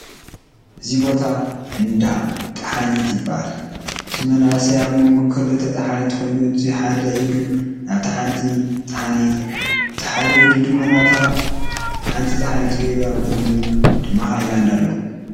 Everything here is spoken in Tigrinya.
እዙይ ቦታ እንዳ ጣሓኒት ይብሃል። እቱይ መንእሰይ ኣብ ሞንጎ ክልተ ጣሓኒት ኮይኑ እቱይ ሓደ ኢዱ ናብታ ሓንቲ ጥሓንቲ እቱይ ሓደ ኢዱ ድማ ናብታ ሓንቲ ጥሓንት ገይሩ ኣብ ቅድሚኡ ድማ ሃይላንድ ኣሎ።